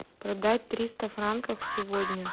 продать триста франков сегодня